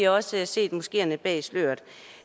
også set moskeerne bag sløret